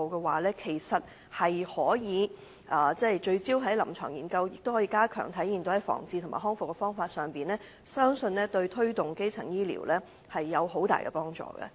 如能聚焦在臨床研究，應用於防治和復康治療，相信對推動基層醫療有很大的幫助。